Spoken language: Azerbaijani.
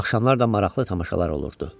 Axşamlar da maraqlı tamaşalar olurdu.